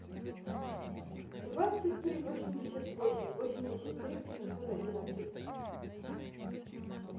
двадцать три восемьдесят восемь восемьдесят три восемьсот одиннадцать